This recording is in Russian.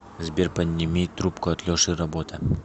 сбер подними трубку от леши работа